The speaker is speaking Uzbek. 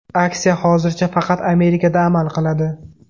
Aksiya hozircha faqat Amerikada amal qiladi.